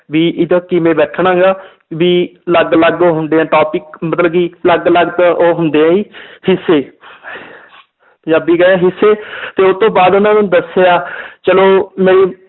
ਵੀ ਉਦੋਂ ਕਿਵੇਂ ਬੈਠਣਾ ਗਾ ਵੀ ਅਲੱਗ ਅਲੱਗ ਹੁੰਦੇ ਹੈ topic ਮਤਲਬ ਕਿ ਅਲੱਗ ਅਲੱਗ ਉਹ ਹੁੰਦੇ ਹੈ ਜੀ ਹਿੱਸੇ ਪੰਜਾਬੀ ਹਿੱਸੇ ਤੇ ਉਹ ਤੋਂ ਬਾਅਦ ਉਹਨਾਂ ਨੇ ਦੱਸਿਆ ਚਲੋ ਮੇਰੀ